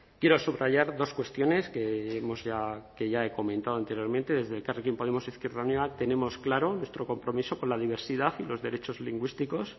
quiero subrayar dos cuestiones que hemos ya que ya he comentado anteriormente desde elkarrekin podemos izquierda unida tenemos claro nuestro compromiso con la diversidad y los derechos lingüísticos